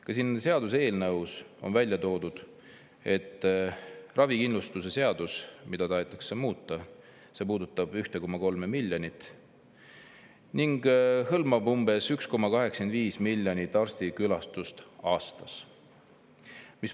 Ka siin seaduseelnõus on välja toodud, et ravikindlustuse seadus, mida tahetakse muuta, puudutab 1,3 miljonit ning hõlmab umbes 1,85 miljonit arstikülastust aastas.